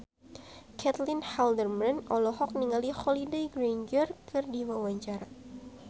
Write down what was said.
Caitlin Halderman olohok ningali Holliday Grainger keur diwawancara